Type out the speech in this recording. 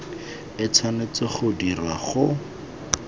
e tshwanetse go dirwa go